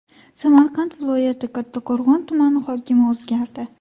Samarqand viloyati Kattaqo‘rg‘on tumani hokimi o‘zgardi.